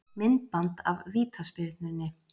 Myndband af vítaspyrnunni